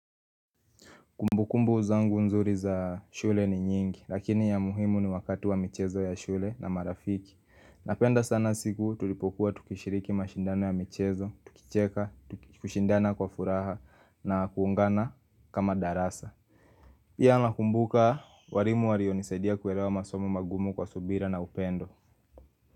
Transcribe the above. Kumbukumbu zangu nzuri za shule ni nyingi, lakini ya muhimu ni wakati wa michezo ya shule na marafiki. Napenda sana siku tulipokuwa tukishiriki mashindano ya michezo, tukicheka, tukishindana kwa furaha na kuungana kama darasa. Pia nakumbuka, warimu wario nisaidia kuelewa masomo magumu kwa subira na upendo.